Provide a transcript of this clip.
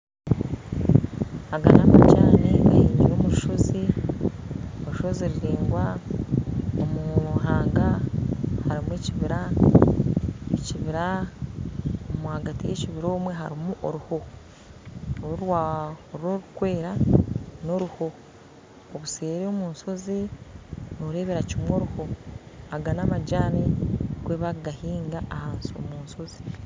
Aga n'amajani gemiire omu rushozi , orushozi ruraingwa omu ruhanga harimu ekibira, omwahagati y'ekibira harumu oruho oru orukwera n'oruho obuseeri omunshozi norebera kimwe oruho, aga n'amajani nikwo bakugahinga omunshozi.